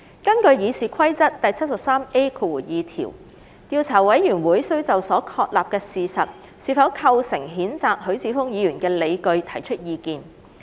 根據《議事規則》第 73A2 條，調查委員會需就所確立的事實是否構成譴責許智峯議員的理據提出意見。